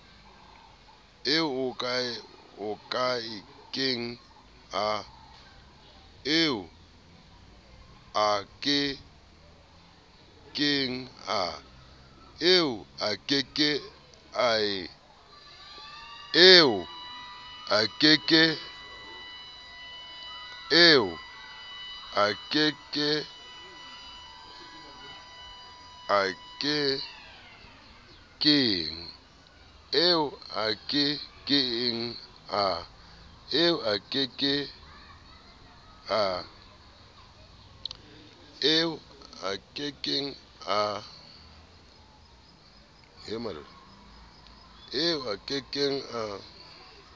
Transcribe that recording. eo a ke keng a